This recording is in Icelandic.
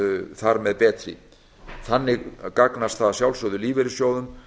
þar með betri þannig gagnast það að sjálfsögðu lífeyrissjóðum